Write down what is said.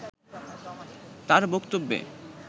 তার বক্তব্যে